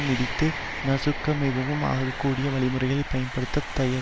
மிதித்து நசுக்க மிகவும் ஆகக்கூடிய வழிமுறைகளை பயன்படுத்த தயங்